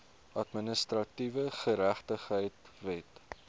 administratiewe geregtigheid wet